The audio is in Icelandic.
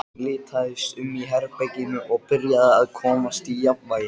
Litaðist um í herberginu og byrjaði að komast í jafnvægi.